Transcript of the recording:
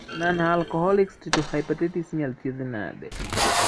Nonalcoholic steatohepatitis inyalo thiedhi nade